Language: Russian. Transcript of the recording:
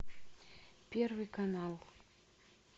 первый канал